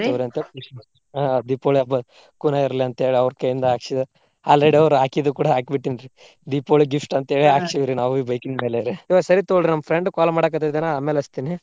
ಆಹ್ ದೀಪಾವಳಿ ಹಬ್ಬಾ ಕುನಾ ಇರ್ಲಿ ಅಂತ ಹೇಳಿ ಅವ್ರ ಕೈಯಿಂದ ಹಾಕ್ಸಿ already ಅವ್ರ ಹಾಕಿದ್ದು ಕೂಡಾ ಹಾಕಿ ಬಿಟ್ಟಿನ್ರಿ ದೀಪಾವಳಿ gift ಅಂತ ಹೇಳೆ ಹಾಕ್ಸಿವ್ರಿ ನಾವು ಈ bike ನ ಮೇಲೆರಿ. ಇವಾಗ ಸರಿ ತೊಗೋರಿ ನಮ್ಮ friend call ಮಾಡಾಕತ್ತಿದಾನ ಆಮ್ಯಾಲ ಹಚ್ಚತಿನಿ.